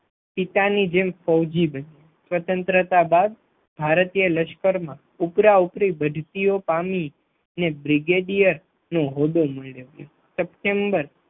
પિતા ની જેમ ફૌજી બની, સ્વતંત્રતા બાદ ભારતીય લશ્કરમાં ઉપરાઉપરી વધતી ઓ પામી અને બ્રિગેડિયર નું હોદ્દો મળ્યો હતો. સપ્ટેબર